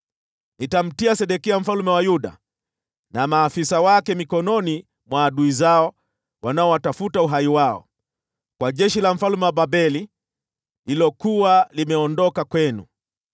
“Nitamtia Sedekia mfalme wa Yuda na maafisa wake mikononi mwa adui zao wanaotafuta uhai wao, kwa jeshi la mfalme wa Babeli, lililokuwa limeondoka kwenu.